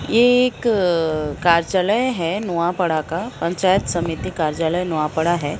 एक हैं नुआपड़ा का पंचायत समिति कार्यालय नुआपड़ा है।